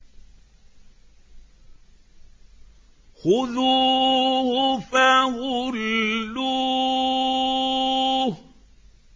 خُذُوهُ فَغُلُّوهُ